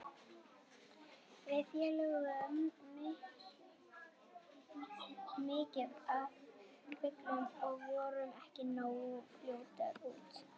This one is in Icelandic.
Við féllum full mikið á köflum og vorum ekki nógu fljótar út.